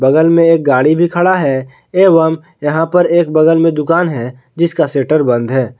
बगल में एक गाड़ी भी खड़ा है एवं यहां पे एक बगल में दुकान है जिसका शटर बंद है।